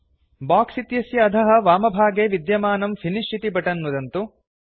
box इत्यस्य अधः वामभागे विद्यमानं फिनिश इति बटन् नुदन्तु